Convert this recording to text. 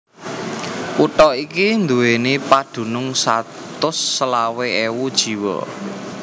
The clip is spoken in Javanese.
Kutha iki nduwèni padunung satus selawe ewu jiwa